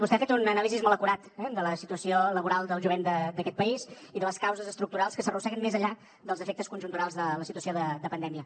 vostè ha fet un anàlisi molt acurat eh de la situació laboral del jovent d’aquest país i de les causes estructurals que s’arrosseguen més enllà dels efectes conjunturals de la situació de pandèmia